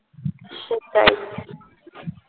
সেটাই